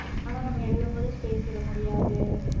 ஆனா நம்ம எழுதும் போது space விட முடியாது